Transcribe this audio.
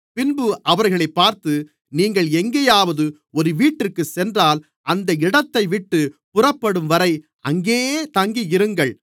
பின்பு அவர்களைப் பார்த்து நீங்கள் எங்கேயாவது ஒரு வீட்டிற்குச் சென்றால் அந்த இடத்தைவிட்டுப் புறப்படும்வரை அங்கேயே தங்கியிருங்கள்